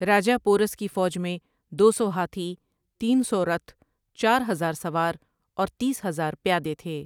راجا پورس کی فوج میں دو سو ہاتھی ، تین سو رتھ ، چار ہزار سوار اور تیس ہزار پیادے تھے ۔